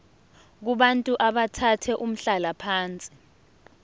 kubantu abathathe umhlalaphansi